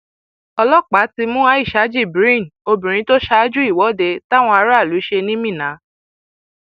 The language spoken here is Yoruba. ọlọpàá ti mú aisha jibrin obìnrin tó ṣáájú ìwọde táwọn aráàlú ṣe ní minna